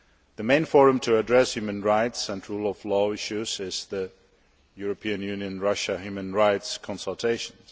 The main forum for addressing human rights and rule of law issues is the European Union Russia human rights consultations.